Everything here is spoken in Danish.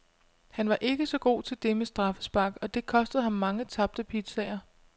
Han var ikke så god til det med straffespark, og det kostede ham mange tabte pizzaer.